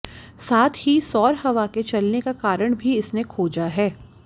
साथ ही सौर हवा के चलने का कारण भी इसने खोजा है